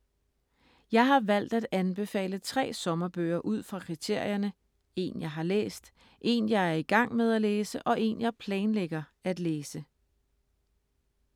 Jeg har valgt at anbefale tre sommerbøger ud fra kriterierne: En jeg har læst, en jeg er i gang med at læse og en jeg planlægger at læse: